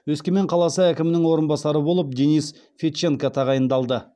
өскемен қаласы әкімінің орынбасары болып денис федченко тағайындалды